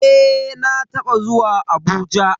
Eh na taba zuwa Abuja.